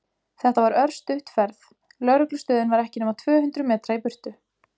Þetta var örstutt ferð, lögreglustöðin var ekki nema tvö hundruð metra í burtu.